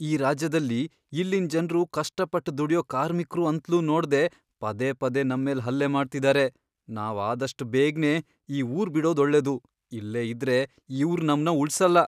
ಈ ರಾಜ್ಯದಲ್ಲಿ ಇಲ್ಲಿನ್ ಜನ್ರು ಕಷ್ಟಪಟ್ಟ್ ದುಡ್ಯೋ ಕಾರ್ಮಿಕ್ರು ಅಂತ್ಲೂ ನೋಡ್ದೇ ಪದೇ ಪದೇ ನಮ್ಮೇಲ್ ಹಲ್ಲೆ ಮಾಡ್ತಿದಾರೆ, ನಾವ್ ಆದಷ್ಟ್ ಬೇಗ್ನೆ ಈ ಊರ್ ಬಿಡೋದ್ ಒಳ್ಳೇದು, ಇಲ್ಲೇ ಇದ್ರೆ ಇವ್ರ್ ನಮ್ನ ಉಳ್ಸಲ್ಲ.